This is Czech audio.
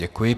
Děkuji.